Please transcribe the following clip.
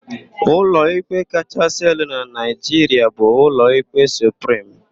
Ụlọikpe kachaasị elu na Naịjiria bụ Ụlọikpe Suprim.